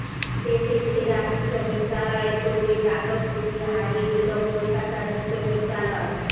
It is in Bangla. দেশের সেরা বিশ্ববিদ্যালয়ের দৌড়ে যাদবপুরকে হারিয়ে দিল কলকাতা বিশ্ববিদ্যালয়